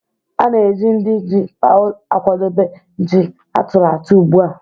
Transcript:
A na-eji ndị ji paụ̀ akwadebe ji a tụrụ atụ̀ ugbu a